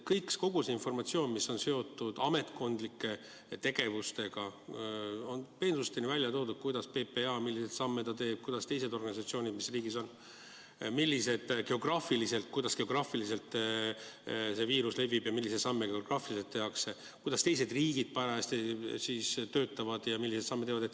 Kogu see informatsioon, mis on seotud ametkondlike tegevustega, on peensusteni välja toodud: milliseid samme PPA teeb, kuidas teised organisatsioonid, kuidas geograafiliselt see viirus levib ja milliseid samme geograafiliselt tehakse, kuidas teised riigid parajasti töötavad ja milliseid samme teevad.